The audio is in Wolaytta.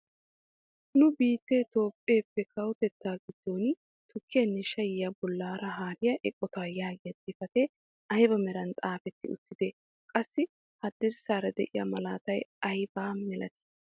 Nu biittee itoophphee kawotettaa giddon tukkiyaanne shayiyaa bollaara haariyaa eqotaa yaagiyaa xifatee ayba meran xaafetti uttidee? qassi hadirssaara de'iyaa malatay ayba malatii?